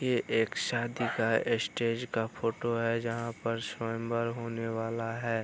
ये एक शादी का स्टेज का फोटो है जहाँ पर स्वयंवर होने है।